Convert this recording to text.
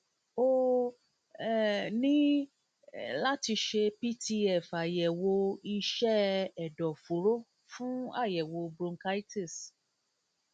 o um ní um láti ṣe pft àyẹwò iṣẹ ẹdọfóró fún àyẹwò bronchitis